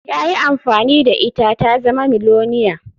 Ya yi amfani da ita ta zama miliyoniya.